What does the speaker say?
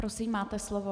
Prosím, máte slovo.